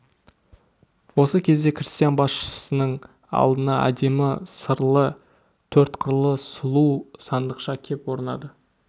осы кезде крестьян басшысының алдына әдемі сырлы төрт қырлы сұлу сандықша кеп орнады